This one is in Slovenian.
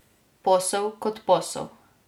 Posel kot posel.